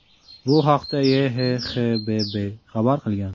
Bu haqda YHXBB xabar qilgan .